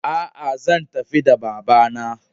A'a zan tafi da babana.